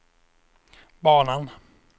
banan